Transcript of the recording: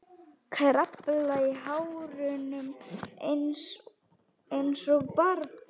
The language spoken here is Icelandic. Kraflar í hárunum einsog barn.